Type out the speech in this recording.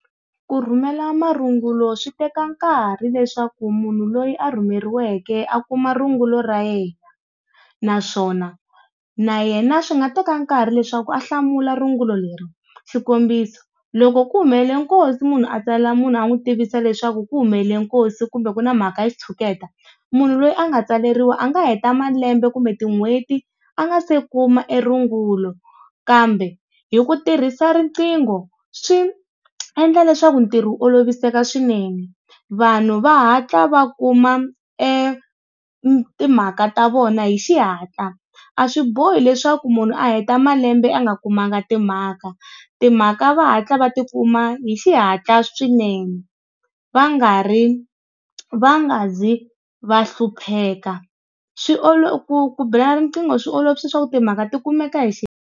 Ku rhumela marungulo swi teka nkarhi leswaku munhu loyi a rhumeriweke a kuma rungula ra yena, naswona na yena swi nga teka nkarhi leswaku a hlamula rungula leri, xikombiso loko ku humelele nkosi munhu a tsalela munhu a n'wi tivisa leswaku ku humelele nkosi kumbe ku na mhaka ya xitshuketa, munhu loyi a nga tsaleriwa a nga heta malembe kumbe tin'hweti a nga se kuma e rungulo. Kambe hi ku tirhisa riqingho swi endla leswaku ntirho wu olovisela swinene, vanhu va hatla va kuma e timhaka ta vona hi xihatla. A swi bohi leswaku munhu a heta malembe a nga kumanga timhaka, timhaka va hatla va tikuma hi xihatla swinene va nga ri va nga zi va hlupheka swi ku ku bela riqingho swi olovisa swa ku timhaka tikumeka hi .